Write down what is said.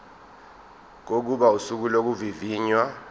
kokuba usuku lokuvivinywa